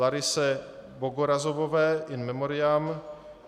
Larise Bogorazovové, in memoriam